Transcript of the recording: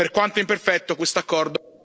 Per quanto imperfetto, questo accordo...